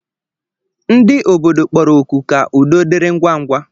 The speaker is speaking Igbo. Ndị obodo kpọrọ oku ka udo dịrị ngwa ngwa